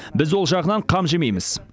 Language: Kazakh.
біз ол жағынан қам жемейміз